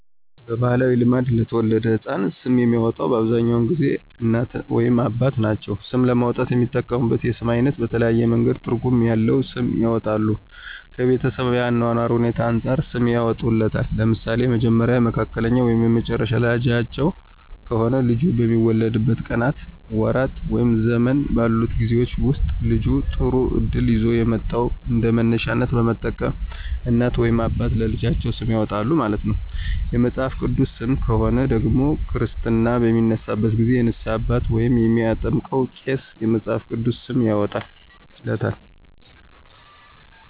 በባህላዊ ልማድ ለተወለደው ህፃን ስም የሚያወጣው በአብዛኛውን ጊዜ እናት ወይም አባት ናቸው። ስም ለማውጣት የሚጠቀሙት የስም አይነት በተለያየ መንገድ ትርጉም ያለዉ ስም ያወጣሉ። ከቤተሰብ የአኗኗር ሁኔታዎች አንፃርም ሰም ያወጡለታል። ለምሳሌ የመጀመሪያ፣ የመካከለኛ ወይም የመጨረሻ ልጃቸው ከሆነ ልጁ በሚወለድበት ቀናት፣ ወራት ወይም ዘመን ባሉት ጊዜወች ወስጥ ልጁ ጥሩ እድል ይዞ የመጣውን እንደመነሻነት በመጠቀም እናት ወይም አባት ለልጃቸው ስም ያወጣሉ ማለት ነው። የመጽሐፍ ቅዱስ ሰም ከሆነ ደግሞ ክርስትና በሚነሳበት ጊዜ የንስሃ አባት ወይም የሚያጠምቀው ቄስ የመፅሐፍ ቅዱስ ስም ያወጣለታል።